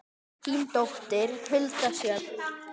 Þín dóttir, Hulda Sjöfn.